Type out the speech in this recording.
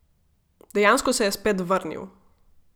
Dejansko se je spet vrnil.